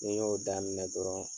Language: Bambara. Ni n y'o daminɛ dɔrɔn